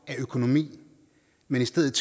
økonomi men i stedet